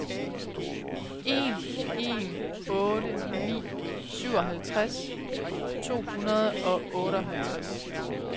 en en otte ni syvoghalvtreds to hundrede og otteoghalvtreds